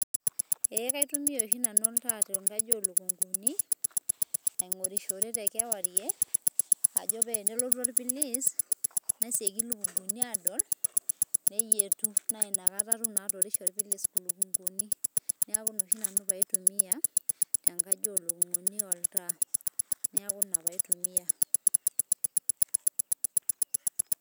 Eeeh kaitumia oshi nanu oltaa tenkaji oo lukunguni aing`orishore, te kewarie ajo pee enelotu orpilis nesioki ilukunguni aadol. Neyietu naa ina kata naa atum atorishie orpilis ilukunguni niaku ina oshi pee ai tumia tenkaji oo lukunguni oltaa, niaku ina oshi pee ai tumia.